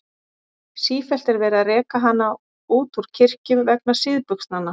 Sífellt er verið að reka hana út úr kirkjum vegna síðbuxnanna.